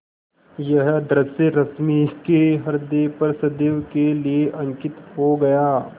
यह दृश्य रश्मि के ह्रदय पर सदैव के लिए अंकित हो गया